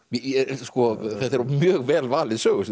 parrukmann þetta er mjög vel valið sögusvið